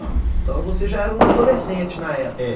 então você já era um adolescente na época, é.